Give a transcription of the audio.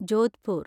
Jodhpur